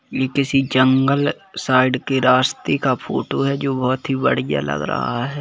ये किसी जंगल साइड के रास्ते का फोटो है जो बहुत ही बढ़िया लग रहा है।